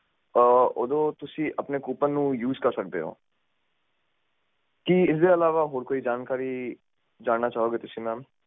ਕਰੋਗੇ ਓਦੇ ਵਿੱਚ ਰਡੀਮ ਕੁਪੋਨ ਦਾ ਓਪਸ਼ਨ